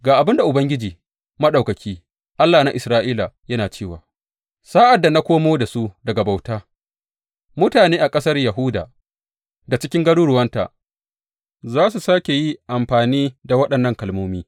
Ga abin da Ubangiji Maɗaukaki, Allah na Isra’ila yana cewa, Sa’ad da na komo da su daga bauta mutane a ƙasar Yahuda da cikin garuruwanta za su sāke yi amfani da waɗannan kalmomi.